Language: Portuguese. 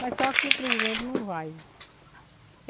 Mas só que o presidente não vai.